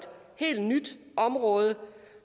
helt nyt område